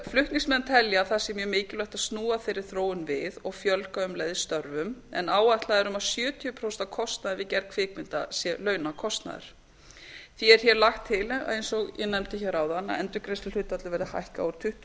flutningsmenn telja að það sé mjög mikilvægt að snúa þeirri þróun við og fjölga um leið störfum en áætlað er að um sjötíu prósent af kostnaði við gerð kvikmynda sé launakostnaður því er lagt til eins og ég nefndi áðan að endurgreiðsluhlutfallið verði hækkað úr tuttugu